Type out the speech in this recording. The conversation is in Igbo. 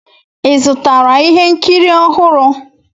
Ị zụtara ihe nkiri ọhụrụ?